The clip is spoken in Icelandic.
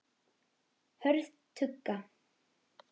Hörð tugga.